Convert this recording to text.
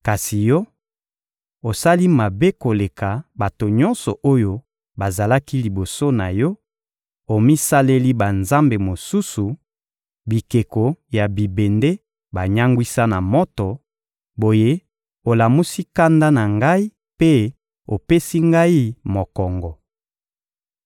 Kasi yo, osali mabe koleka bato nyonso oyo bazalaki liboso na yo: omisaleli banzambe mosusu, bikeko ya bibende banyangwisa na moto; boye, olamusi kanda na Ngai mpe opesi Ngai mokongo.